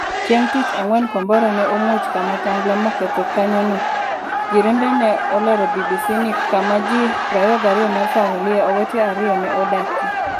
Chieng' tich ang'wen kombora ne omuoch kama tangla moketho kanyono jirende ne olero BBC ni kama ji 22 mar familia owete 2 ne odakie.